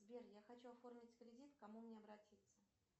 сбер я хочу оформить кредит к кому мне обратиться